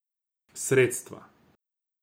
Sredstva.